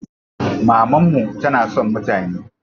Mamanmu tana son mutane.